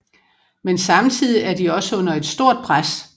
Men samtidig er de også under et stort pres